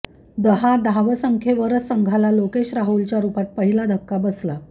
दहा धावसंख्येवरच संघाला लोकेश राहुलच्या रुपात पहिला धक्का बसला